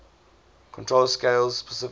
control scales specifically